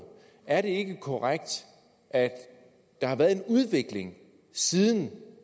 er det ikke korrekt at der har været en udvikling siden